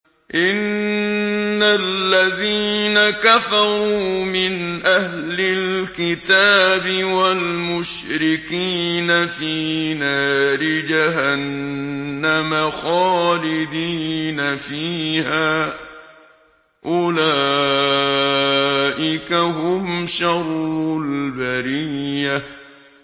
إِنَّ الَّذِينَ كَفَرُوا مِنْ أَهْلِ الْكِتَابِ وَالْمُشْرِكِينَ فِي نَارِ جَهَنَّمَ خَالِدِينَ فِيهَا ۚ أُولَٰئِكَ هُمْ شَرُّ الْبَرِيَّةِ